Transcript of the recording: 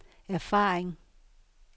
erfaring